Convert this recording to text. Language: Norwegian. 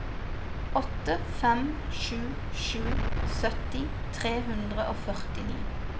åtte fem sju sju sytti tre hundre og førtini